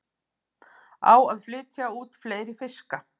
Á að flytja út fleiri fiska